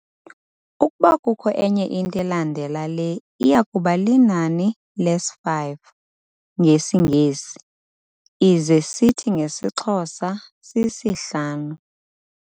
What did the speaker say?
Ukuba kukho enye into elandela le iyakuba linani lesi 'five' ngesiNgesi, ize sithi ngesiXhosa si-sihlanu.